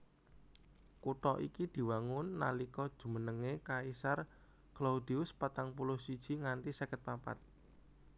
Kutha iki diwangun nalika jumenengé Kaisar Claudius patang puluh siji nganti seket papat